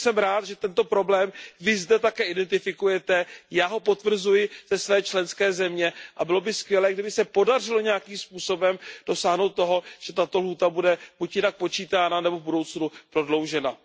Takže jsem rád, že tento problém vy zde také identifikujete, já ho potvrzuji ze své členské země a bylo by skvělé, kdyby se podařilo nějakým způsobem dosáhnout toho, že tato lhůta bude buď jinak počítána, nebo v budoucnu prodloužena.